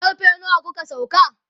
karfe nawa kuka sauka?